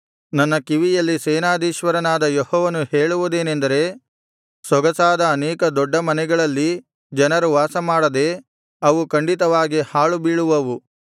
ನನ್ನ ಕಿವಿಯಲ್ಲಿ ಸೇನಾಧೀಶ್ವರನಾದ ಯೆಹೋವನು ಹೇಳುವುದೇನೆಂದರೆ ಸೊಗಸಾದ ಅನೇಕ ದೊಡ್ಡ ಮನೆಗಳಲ್ಲಿ ಜನರು ವಾಸಮಾಡದೆ ಅವು ಖಂಡಿತವಾಗಿ ಹಾಳು ಬೀಳುವುವು